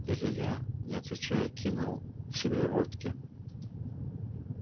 илья не отвечая кинул в себя водки